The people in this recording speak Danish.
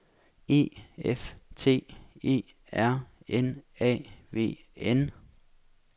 E F T E R N A V N